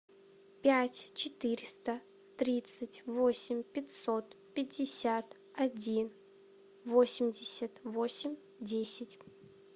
пять четыреста тридцать восемь пятьсот пятьдесят один восемьдесят восемь десять